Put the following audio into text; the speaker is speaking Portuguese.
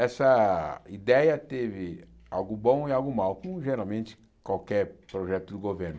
Essa ideia teve algo bom e algo mal, como geralmente qualquer projeto do governo.